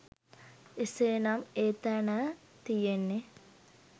එසේනම් එතෑන තියෙන්නේ